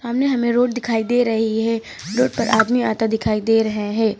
आमने हमने हमें रोड दिखाई दे रही है रोड पर आदमी आता दिखाई दे रहे हैं।